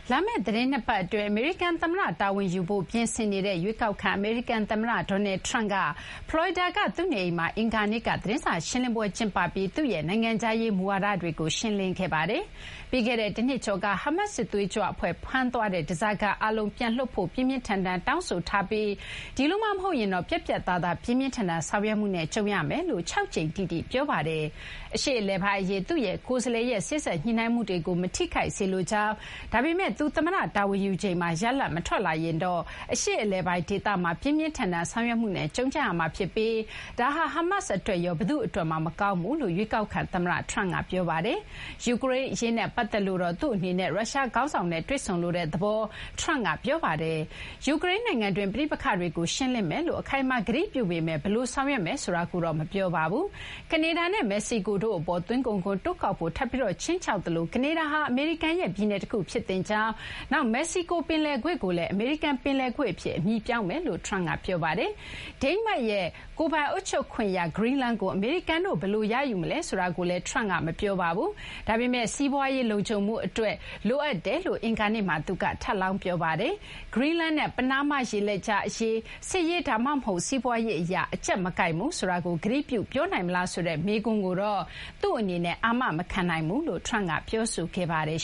လာမယ့် သီတင်း ၂ ပတ် အတွင်း အမေရိကန် သမ္မတ တာဝန်ယူဖို့ ပြင်ဆင်နေတဲ့ ရွေးကောက်ခံ အမေရိကန် သမ္မတ Donald Trump က ဖလော်ရီဒါက သူ့နေအိမ်မှာ အင်္ဂါနေ့က သတင်းစာ ရှင်းလင်းပွဲ ကျင်းပပြီး သူ့ရဲ့ နိုင်ငံခြားရေးရာ မူဝါဒတွေကို ရှင်းလင်းခဲ့ပါတယ်။ ပြီးခဲ့တဲ့ တနှစ်ကျော်က ဟားမတ် စစ်သွေးကြွ အဖွဲ့ ဖမ်းသွားတဲ့ ဓားစားခံအားလုံးကို ပြန်လွှတ်ဖို့ ပြင်းပြင်းထန်ထန် တောင်းဆိုထားပြီး ဒီလိုမှ မဟုတ်ရင်တော့ ပြတ်ပြတ်သားသား ပြင်းပြင်းထန်ထန် ဆောင်ရွက်မှုနဲ့ ကြုံရမယ်လို့ ၆ ကြိမ်တိတိ ပြောခဲ့ပါတယ်။ အရှေ့အလယ်ပိုင်း အရေး သူ့ရဲ့ ကိုယ်စားလှယ်ရဲ့ စေ့စပ်ညှိနှိုင်းမှုတွေကို မထိခိုက်စေလိုကြောင်း၊ ဒါပေမဲ့ သူ သမ္မတ တာဝန်ယူချိန်မှာ ရလဒ် မထွက်လာရင်တော့ အရှေ့အလယ်ပိုင်း ဒေသမှာ ပြင်းပြင်းထန်ထန် ဆောင်ရွက်မှုနဲ့ ကြုံကြရမှာ ဖြစ်ပြီး ဒါဟာ ဟားမတ် အတွက်ရော ဘယ်သူ့ အတွက်မှ မကောင်းဘူးလို့ ရွေးကောက်ခံ သမ္မတ Trump က ပြောဆိုခဲ့ပါတယ်။ ယူကရိန်း အရေးနဲ့ ပတ်သက်လို့တော့ သူ့အနေနဲ့ ရုရှား ခေါင်းဆောင်နဲ့ တွေ့ဆုံလိုတဲ့ သဘော Trump က ပြောပါတယ်။ ယူကရိန်း နိုင်ငံတွင်း ပဋိပက္ခကို ရှင်းလင်းမယ်လို့ အခိုင်အမာ ကတိပြုပေမဲ့ ဘယ်လို ဆောင်ရွက်မယ်ဆိုတာကိုတော့ မပြောပါဘူး။ ကနေဒါနဲ့ မက္ကဆီကို တို့ အပေါ် သွင်းကုန်ခွန် တိုးကောက်ဖို့ ထပ်ပြီး ခြိမ်းခြောက်သလို ကနေဒါဟာ အမေရိကန်ရဲ့ ပြည်နယ် တခု ဖြစ်သင့်ကြောင်း၊ နောက် မက္ကဆီကို ပင်လယ်ကွေ့ကိုလည်း အမေရိကန် ပင်လယ်ကွေ့ အဖြစ် အမည်ပြောင်းမယ်လို့လည်း Trump က ပြောပါတယ်။ ဒိန်းမတ်နိုင်ငံတွင်းက ကိုယ်ပိုင် အုပ်ချုပ်ခွင့်ရ Greenland ကို အမေရိကန်တို့ ဘယ်လို ရယူမလဲ ဆိုတာကိုလည်း Trump က မပြောပါဘူး။ ဒါပေမဲ့ စီးပွားရေး လုံခြုံမှု အတွက် Greenland လိုအပ်တယ်လို့ အင်္ဂါနေ့မှာ သူက ထပ်လောင်း ပြောပါတယ်။ Greenland နဲ့ ပနားမား ရေလက်ကြား အရေးမှာ စစ်ရေး ဒါမှမဟုတ်လည်း စီးပွားရေး အရ အကြပ်မကိုင်ဘူးဆိုတာကို ကတိပြု ပြောဆိုနိုင်မလားဆိုတဲ့ မေးခွန်းကိုတော့ သူ့အနေနဲ့ အာမမခံနိုင်ဘူးလို့ Trump က ပြောဆိုခဲ့ပါတယ်